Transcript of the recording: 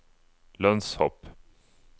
lønnshopp